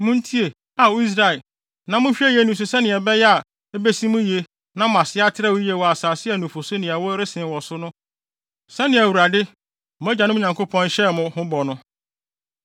Muntie, Ao Israel, na monhwɛ yiye nni so sɛnea ɛbɛyɛ a ebesi mo yiye na mo ase atrɛw yiye wɔ asase a nufusu ne ɛwo resen wɔ so no so sɛnea Awurade, mo agyanom Nyankopɔn, hyɛɛ mo ho bɔ no.